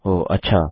हो अच्छा